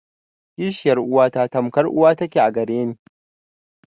Kishiyar uwata tamkar uwa ta ke a gare ni.